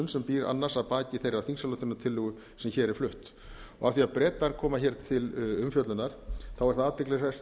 sem býr annars að baki þeirrar þingsályktunartillögu sem hér er flutt af því bretar koma hér til umfjöllunar er það athyglisvert